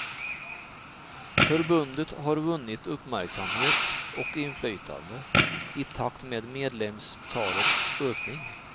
Förbundet har vunnit uppmärksamhet och inflytande i takt med medlemstalets ökning.